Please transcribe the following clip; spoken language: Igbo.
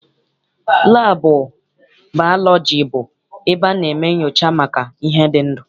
Laabụ baalọji bụ ebe a na-eme nnyocha maka ihe dị ndụ.